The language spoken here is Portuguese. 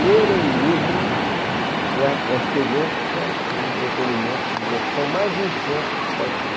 Ler um livro é a experiência de entretenimento e diversão mais intensa que se pode ter.